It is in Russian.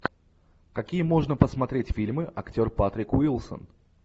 какие можно посмотреть фильмы актер патрик уилсон